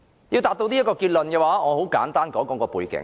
要達致這個結論，我要先簡單說說背景。